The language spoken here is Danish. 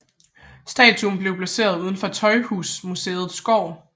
Statuen blev placeret uden for Tøjhusmuseets gård